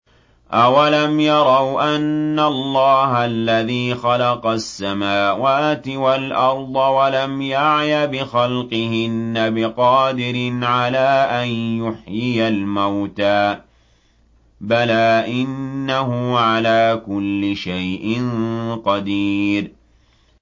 أَوَلَمْ يَرَوْا أَنَّ اللَّهَ الَّذِي خَلَقَ السَّمَاوَاتِ وَالْأَرْضَ وَلَمْ يَعْيَ بِخَلْقِهِنَّ بِقَادِرٍ عَلَىٰ أَن يُحْيِيَ الْمَوْتَىٰ ۚ بَلَىٰ إِنَّهُ عَلَىٰ كُلِّ شَيْءٍ قَدِيرٌ